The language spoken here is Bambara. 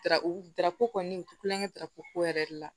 Dara u darako kɔni u ti kulonkɛ ko yɛrɛ de la